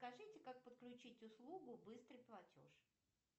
скажите как подключить услугу быстрый платеж